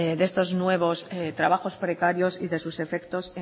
de estos nuevos trabajos precarios y de sus efectos